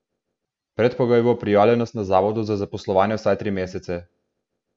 Predpogoj bo prijavljenost na Zavodu za zaposlovanje vsaj tri mesece.